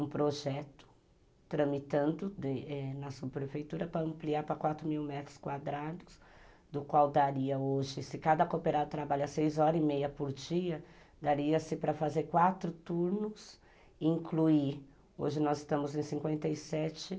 um projeto tramitando ãh na subprefeitura para ampliar para quatro mil metros quadrados, do qual daria hoje, se cada cooperado trabalha seis horas e meia por dia, dar-se-ia para fazer quatro turnos, incluir, hoje nós estamos em cinquenta e sete,